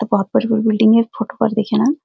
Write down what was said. तो वहां पर कोई बिल्डिंग है फोटो पर दिख्यां।